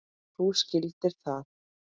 Þú skildir það.